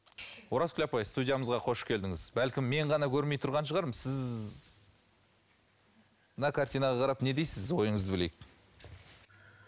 оразкүл апай студиямызға қош келдіңіз бәлкім мен ғана көрмей тұрған шығармын сіз мына картинаға қарап не дейсіз ойыңызды білейік